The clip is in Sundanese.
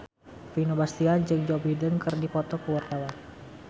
Vino Bastian jeung Joe Biden keur dipoto ku wartawan